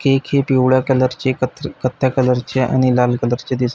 cake ही पिवळ्या colour चे क कथ्या कलर चे आणि लाल कलर चे दिस--